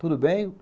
Tudo bem.